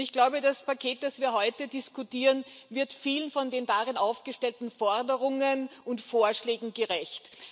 Ich glaube, das Paket, über das wir heute diskutieren, wird vielen der darin aufgestellten Forderungen und Vorschlägen gerecht.